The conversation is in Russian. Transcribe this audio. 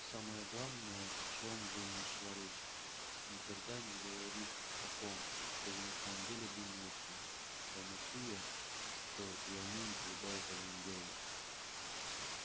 а самое главное о чем бы ни шла речь никогда не говорить того что вы на самом деле думаете памятуя что и они никогда этого не делают